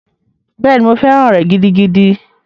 Bẹ́ẹ̀ni, mo fẹ́ràn rẹ̀ gidigidi.